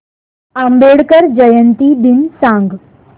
आंबेडकर जयंती दिन सांग